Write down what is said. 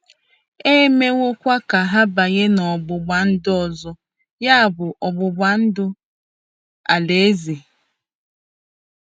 E mewokwa ka ha banye n'ọgbụgba ndụ ọzọ, ya bụ, ọgbụgba ndụ Alaeze.